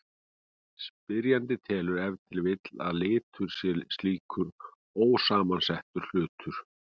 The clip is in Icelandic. Spyrjandinn telur ef til vill að litur sé slíkur ósamsettur hlutur.